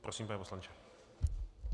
Prosím, pane poslanče.